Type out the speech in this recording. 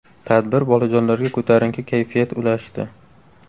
Tadbir bolajonlarga ko‘tarinki kayfiyat ulashdi.